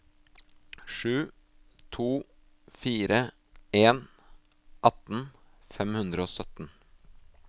sju to fire en atten fem hundre og sytten